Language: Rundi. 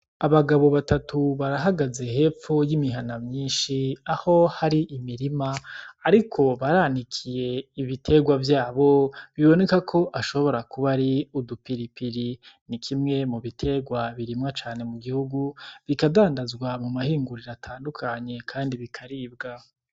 Abagabo batatu barahagaze hepfo y'imihana myinshi, aho hari imirima, ariko baranikiye ibiterwa vyabo, biboneka ko ashobora kuba ari udupiripiri. Ni kimwe mu biterwa birimwa cane mu gihugu, bikadandazwa mu mahinguriro atandukanye kandi bikaribwa.